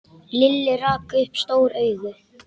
Lilli rak upp stór augu.